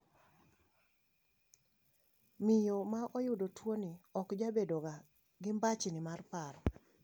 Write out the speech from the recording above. Miyo maoyudo tuoni okjabedoga gi mbachni mar paro.